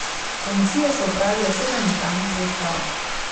Komisije so opravile sedem notranjih preiskav.